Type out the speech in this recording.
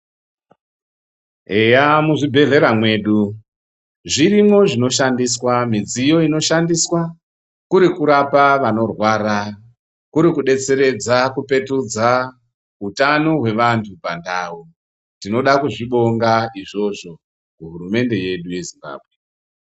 Eya muzvibhehlera mwedu zvirimwo zvinoshandiswa midziyo inoshandiswa, kuri kurapa vanorwara kuri kudetseredza kupetudza hutano hwevantu pandau, tinoda kuzvibonga izvozvo kuhurumende yedu yeZimbabwe.